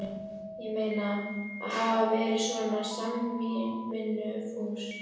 Ég meina, að hafa verið svona samvinnufús.